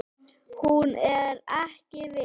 Hún er ekki viss.